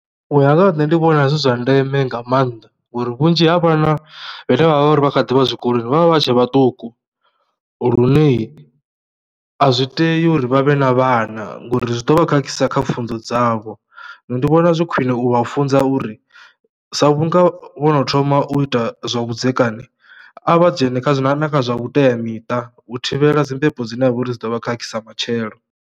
U ya nga ha nṋe ndi vhona zwi zwa ndeme nga maanḓa ngori vhunzhi ha vhana vhane vha vha uri vha kha ḓi vha zwikoloni vha vha vha tshe vhaṱuku lune a zwi tei uri vha vhe na vhana ngori zwi ḓo vha khakhisa kha pfhunzo dzavho. Ndi vhona zwi khwine u vha u funza uri sa vhunga vho no thoma u ita zwavhudzekani a vha dzhene na kha zwa na na kha zwa vhuteamiṱa u thivhela dzi mbebo dzine dza vha uri dzi ḓo vha khakhisa matshelo.